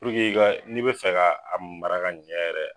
i ka n'i bi fɛ ka a mara ka ɲɛ yɛrɛ